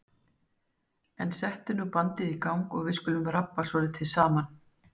En settu nú bandið í gang og við skulum rabba svolítið saman.